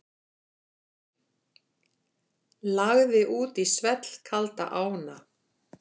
Lagði út í svellkalda ána